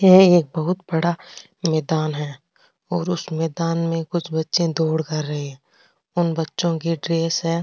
ये एक बहुत बड़ा मैदान है और उस मैदान में कुछ बच्चे दौड़ कर रहे है और उन बच्चो की ड्रेस है।